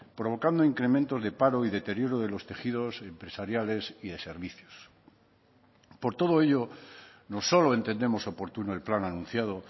provocando incrementos de paro y deterioro de los tejidos empresariales y de servicios por todo ello no solo entendemos oportuno el plan anunciado